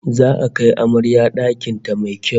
Za'a kai amarya dakin ta mai kyau